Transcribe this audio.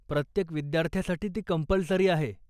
प्रत्येक विद्यार्थ्यासाठी ती कम्पल्सरी आहे.